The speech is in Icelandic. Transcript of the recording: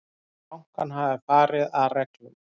Telja bankann hafa farið að reglum